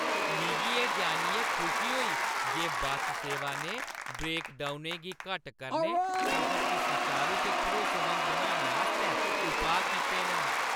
मिगी एह् जान्नियै खुशी होई जे बस सेवा ने ब्रेकडाउनें गी घट्ट करने, सफर गी सुचारू ते भरोसेमंद बनाने आस्तै उपाऽ कीते न।